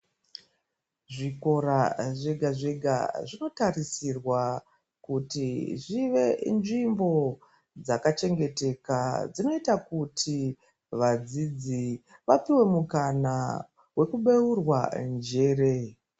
Zvikora zvega zvega zvinotarisirwa kuti zvive nzvimbo dzakachengeteka dzinoita kuti vadzidzi vapuwe mukana wekubeurwa njere.